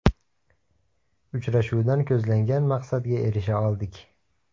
Uchrashuvdan ko‘zlangan maqsadga erisha oldik.